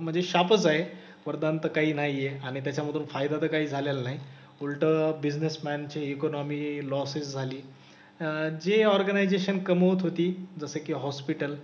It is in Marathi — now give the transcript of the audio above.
म्हणजे शापच आहे. वरदान तर काही नाही आहे. आणि त्याच्यामधून फायदा तर काही झालेला नाही. उलटं बिसनेसमन ची इकॉनॉमी लॉस च झाली. अह जी ऑर्गनायझेशन कमवत होती जसे की हॉस्पिटल